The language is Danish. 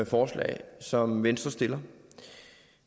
forslag som venstre stiller